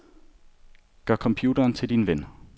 Gør computeren til din ven.